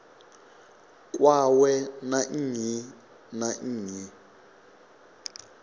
kwawe na nnyi na nnyi